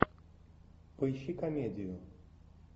поищи комедию